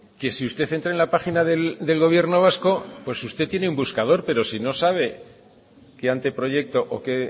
que si usted entra en la página del gobierno vasco pues usted tiene un buscador pero si no sabe qué anteproyecto o qué